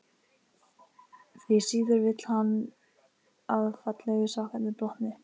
Því síður vill hann að fallegu sokkarnir blotni.